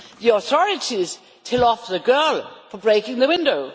The authorities tell off the girl for breaking the window.